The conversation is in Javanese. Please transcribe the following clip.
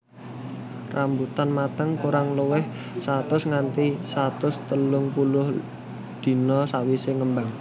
Rambutan mateng kurang luwih satus nganti satus telung puluh dina sawisé ngembang